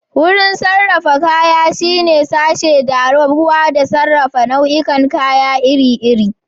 Wurin sarrafa kaya shine sashe da rarrabuwa da sarrafa nau'ikan kaya iri-iri.